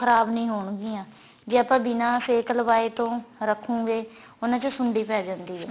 ਖਰਾਬ ਨੀਂ ਹੋਣ ਗਿਆਂ ਜੇ ਆਪਾਂ ਬਿੰਨਾ ਸੇਕ ਲਵਾਏ ਤੋਂ ਰੱਖੋ ਗੇਉਹਨਾ ਚ ਸੁੰਡੀ ਪੈ ਜਾਂਦੀ ਏ